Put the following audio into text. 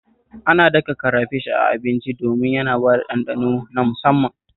Ana daka karafish a abinci domin ya bada ɗanɗano na musamman